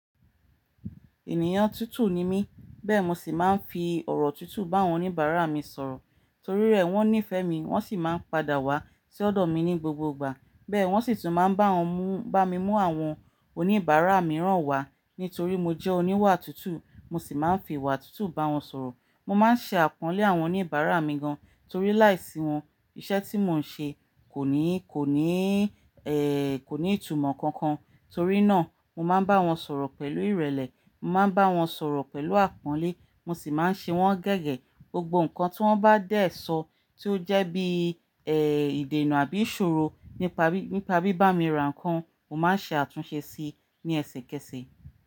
Ènìyàn tútù ni mí, bẹ́ẹ̀ mi sì máa ń fi ọ̀rọ̀ tútù bá àwọn oníbàárà mi sọ̀rọ̀. Torí rẹ̀ wọ́n nífẹ̀ẹ́ mi, wọ́n sì máa ń padà wá sí ọ̀dọ̀ mi ní gbogbo ìgbà. Bẹ́ẹ̀ wọ́n sì tún máa ń bá wọn mú-- bá mi mú àwọn oníbàárà mìíràn wá. Nítorí mo jẹ́ oníwà tútù, mo sì máa ń fi ìwà tútù bá wọn sọ̀rọ̀. Mo máa ń ṣe àpọ́nlé àwọn oníbàárà mi gan, torí láìsí wọn iṣẹ́ tí mò ń ṣe kò ní, kò ní, ẹ́, kò ní ìtumọ̀ kankan. Torí náà mo máa ń bá wọn sọ̀rọ̀ pẹ̀lú ìrẹ̀lẹ̀, mo máa ń bá wọn sọ̀rọ̀ pẹ̀lú àpọ́nlé, mo sì máa ń ṣe wọ́n gẹ́gẹ́. Gbogbo nǹkan tí wọ́n bá dè ẹ́ sọ, tí ó jẹ́ bí, ẹ́, ìdènà àbí ìṣòro nípa bí, nípa bí bá mi rà nǹkan, mo máa ń ṣe àtúnṣe síi ní ẹsẹkẹsẹ.